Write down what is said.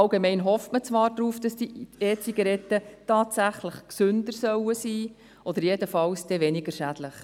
Man hofft zwar, dass diese E-Zigaretten tatsächlich gesünder sind oder jedenfalls weniger schädlich.